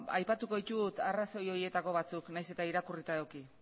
aipatuko ditut arrazoi horietako batzuk nahiz eta irakurrita eduki